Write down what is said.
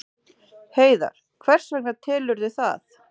Heiðar: Hvers vegna telurðu það?